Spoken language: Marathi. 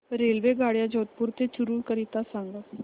रेल्वेगाड्या जोधपुर ते चूरू करीता सांगा